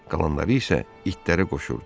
Qalanları isə itlərə qoşurdu.